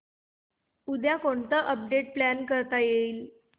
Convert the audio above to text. उद्या कोणतं update plan करता येईल